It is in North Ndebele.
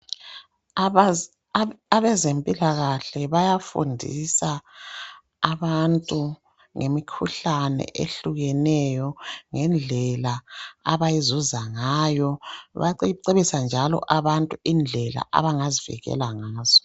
Abezempilakahle bayafundisa abantu ngemikhuhlane ehlukeneyo ngendlela abayizuza ngayo. Bayacebisa njalo abantu indlela abangazivikela ngazo.